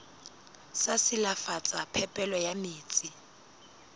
sa silafatsa phepelo ya metsi